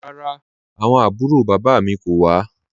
Rárá, awọn àbúrò baba mi kò wà.